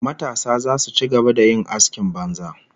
Matasa zasu ci gaba da yin askin banza